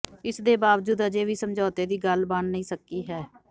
ਇਸ ਦੇ ਬਾਵਜੂਦ ਅਜੇ ਵੀ ਸਮਝੌਤੇ ਦੀ ਗੱਲ ਬਣ ਨਹੀਂ ਸਕੀ ਹੈ